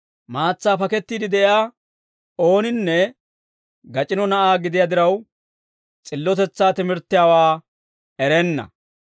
Maatsaa pakettiide de'iyaa ooninne gac'ino na'aa gidiyaa diraw, s'illotetsaa timirttiyaawaa erenna.